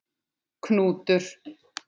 Knútur